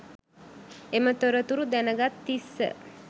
එම තොරතුරු දැන්ගත් තිස්ස